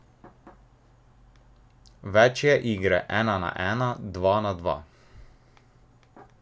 Več je igre ena na ena, dva na dva.